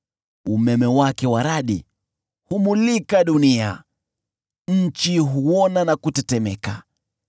Umeme wake wa radi humulika dunia, nchi huona na kutetemeka.